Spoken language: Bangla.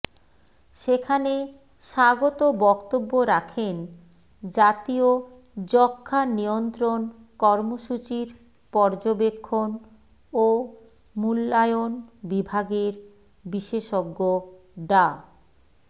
সেখানে স্বাগত বক্তব্য রাখেন জাতীয় যক্ষ্মা নিয়ন্ত্রণ কর্মসূচির পর্যবেক্ষণ ও মূল্যায়ন বিভাগের বিশেষজ্ঞ ডা